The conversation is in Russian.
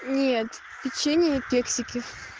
нет печенье кексики